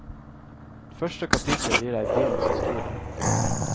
Første kapittel gir deg byens historie.